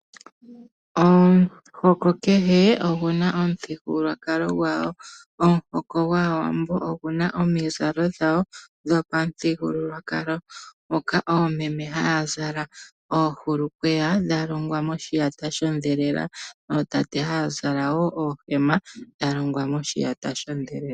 Omuhoko kehe ogu na omuthigululwakalo gwawo. Omuhoko gwAawambo ogu na omizalo dhawo dhopamuthigululwakalo moka oomeme haa zala oohulukweya dha longwa moshiyata shondhelela, ootate wo haa zala wo oohema dha longwa moshiyata shondhelela.